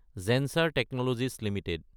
Zensar technologies Ltd